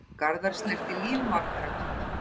Garðar snerti líf margra.